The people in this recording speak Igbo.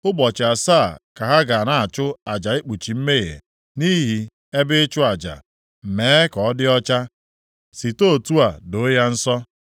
Ụbọchị asaa ka ha ga na-achụ aja ikpuchi mmehie nʼihi ebe ịchụ aja, mee ka ọ dị ọcha, site otu a doo ya nsọ.